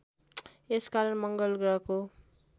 यस कारण मङ्गलग्रहको